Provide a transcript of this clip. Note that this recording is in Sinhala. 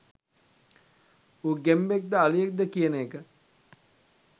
ඌ ගෙම්බෙක්ද අලියෙක්ද කියන එක